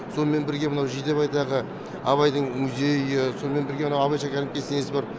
сонымен бірге мынау жидебайдағы абайдың музейі сонымен бірге мынау абай шәкәрім кесенесі бар